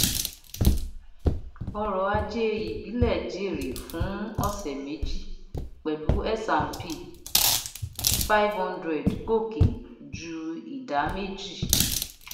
ọrọ̀ ajé ìbílẹ jèrè fún ọ̀sẹ̀ méjì pẹ̀lú s&p five hundred gòkè ju ìdá méjì